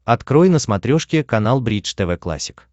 открой на смотрешке канал бридж тв классик